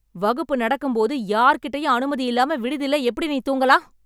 வகுப்பு நடக்கும் போது யார்கிட்டயும் அனுமதி இல்லாம விடுதில எப்படி நீ தூங்கலாம்?